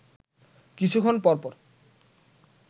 কিছুক্ষণ পরপর